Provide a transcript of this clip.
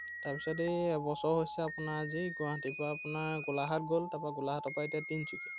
তাৰপিছত এৰ এবছৰ হৈছে আপোনাৰ আজি, গুৱাহাটীৰ পৰা আপোনাৰ গোলাঘাট গ'ল তাৰপৰা গোলাঘাটৰ পৰা এতিয়া তিনিচুকীয়া।